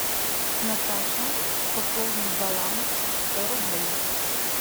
наташа пополнить баланс сто рублей